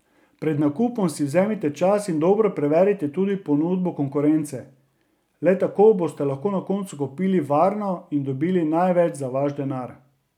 Pred nakupom si vzemite čas in dobro preverite tudi ponudbo konkurence, le tako boste na koncu kupili varno in dobili največ za vaš denar.